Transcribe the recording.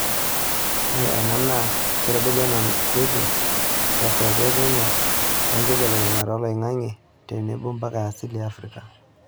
Ore ena naa keitodolu enanotoki te saape e Kenya toonkibelekenyat oloing'ang'e tenebo mpuka e asili e Afrika.